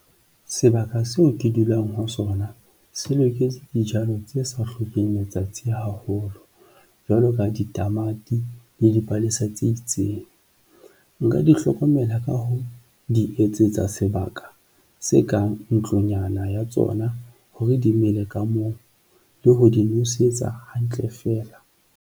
Sebaka seo ke dulang ho sona se loketse dijalo tse sa hlokeng letsatsi haholo jwalo ka ditamati le dipalesa tse itseng. Nka di hlokomela ka ho di etsetsa sebaka se kang ntlonyana ya tsona hore di mele ka moo le ho di nosetsa hantle feela.